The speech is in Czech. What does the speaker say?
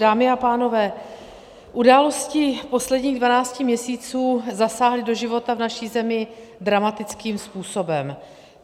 Dámy a pánové, události posledních 12 měsíců zasáhly do života v naší zemi dramatickým způsobem.